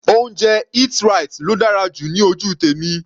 Oúnjẹ Eat-right ló dára jù ní ojú tèmi.